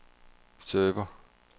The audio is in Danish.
server